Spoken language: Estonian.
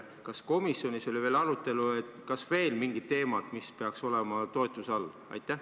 Kas komisjonis oli ka arutelu, kas on veel mingeid teemasid, mis peaksid olema toetatud?